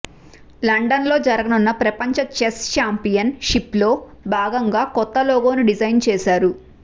లండన్లో జరగనున్న ప్రపంచ చెస్ ఛాంపియన్ షిప్లో భాగంగా కొత్త లోగోను డిజైన్ చేశారు